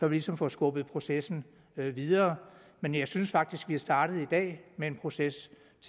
ligesom får skubbet processen videre men jeg synes faktisk at vi er startet i dag med en proces